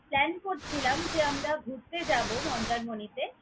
plan করছিলাম যে আমরা ঘুরতে যাবো মন্দারমনিতে।